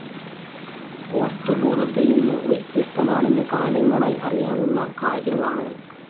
വസ്തു ബോധത്തിൽ നിന്നു വ്യത്യസ്തമാണെന്ന് കാലങ്ങളായി അറിയാവുന്ന കാര്യമാണ്.